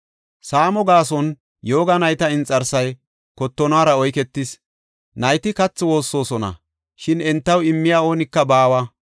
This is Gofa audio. Saamo gaason yooga nayta inxarsay kottonora oyketis; nayti kathi woossosona; shin entaw immiya oonika baawa.